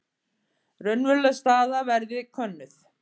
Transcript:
Raunveruleg staða verði könnuð